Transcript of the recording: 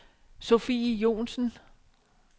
Sofie Johnsen